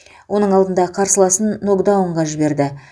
оның алдында қарсыласын нокдаунға жіберді